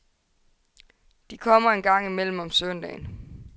De kommer en gang imellem om søndagen.